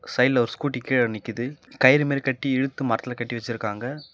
சைடுல ஒரு ஸ்கூட்டி கீழ நிக்குது கைறுமாறி கட்டி இழுத்து மரத்துல கட்டி வெச்சிருக்காங்க.